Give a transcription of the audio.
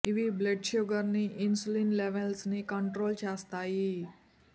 ఇవి blood sugar ని insulin levels ని కంట్రోల్ చేస్తాయి